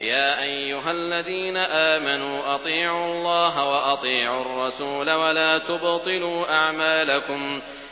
۞ يَا أَيُّهَا الَّذِينَ آمَنُوا أَطِيعُوا اللَّهَ وَأَطِيعُوا الرَّسُولَ وَلَا تُبْطِلُوا أَعْمَالَكُمْ